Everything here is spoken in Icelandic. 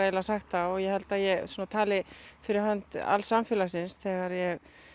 sagt það og ég held að ég tali fyrir hönd alls samfélagsins þegar ég